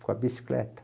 bicicleta.